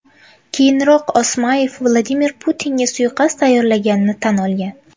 Keyinroq Osmayev Vladimir Putinga suiqasd tayyorlaganini tan olgan.